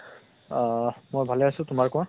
আহ মই ভালে আছো, তোমাৰ কোৱা।